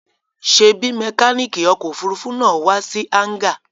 Ṣèbí mẹkáníkì ọkọ̀-òfurufú náà wá sí hángà?